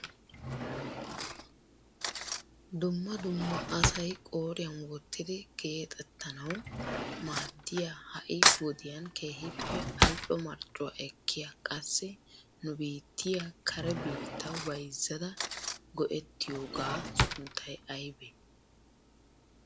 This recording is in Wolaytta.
dumma dumma asay qooriyan wottidi geexxetanaw maaddiya ha'i wodiyan keehippe al''o marccuwa ekkiyaa qassi nu biittiya kare biittaw bayzzada go''etiyooga sunttay aybbe?